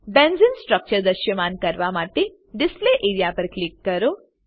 બેન્ઝેને structure દ્રશ્યમાન કરવા માટે ડિસ્પ્લે એઆરઇએ પર ક્લિક કરો